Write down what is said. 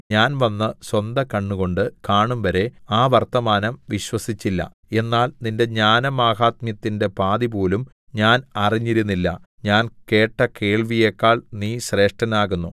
ഞാൻ വന്ന് സ്വന്ത കണ്ണുകൊണ്ട് കാണും വരെ ആ വർത്തമാനം വിശ്വസിച്ചില്ല എന്നാൽ നിന്റെ ജ്ഞാനമാഹാത്മ്യത്തിന്റെ പാതിപോലും ഞാൻ അറിഞ്ഞിരുന്നില്ല ഞാൻ കേട്ട കേൾവിയെക്കാൾ നീ ശ്രേഷ്ഠനാകുന്നു